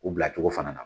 U bila cogo fana na